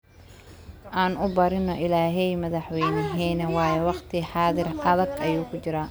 Aan uubarino illahey madhaxwenexeena wayo waqti xadhir aadak ayu kujiraa.